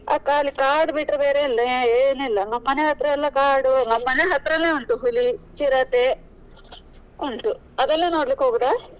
ಆ ಖಾಲಿ ಕಾಡು ಬಿಟ್ರೆ ಬೇರೆ ಏನು ಇಲ್ಲ ನಮ್ ಮನೆ ಹತ್ರ ಎಲ ಕಾಡು ಮನೆ ಹತ್ರನೇ ಉಂಟು ಹುಲಿ, ಚಿರತೆ ಉಂಟು ಅವೆಲ್ಲ ನೋಡ್ಲಿಕ್ಕೆ ಹೋಗೋದ.